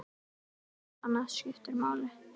Ekkert annað skiptir máli.